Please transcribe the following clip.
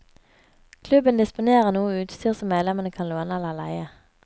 Klubben disponerer noe utstyr som medlemmene kan låne eller leie.